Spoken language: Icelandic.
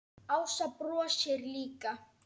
Ása brosir líka.